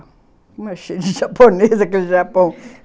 Como é cheio de japonês aquele Japão!